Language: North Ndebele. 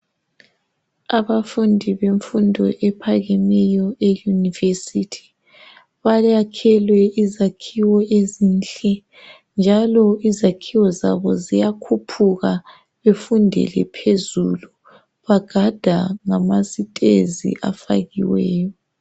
Abafundi bemfundo ephakemeyo eyunivesithi bayakhelwe izakhiwo ezinhle njalo izakhiwo zabo ziyakhuphuka befundele phezulu. Bagada ngamasitezi afakiweyo.